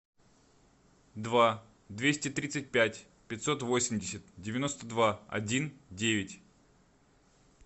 два двести тридцать пять пятьсот восемьдесят девяносто два один девять